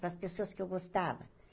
Para as pessoas que eu gostava.